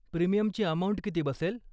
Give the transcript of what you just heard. प्रीमियमची अमाउंट किती बसेल?